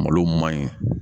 Malo ma ɲi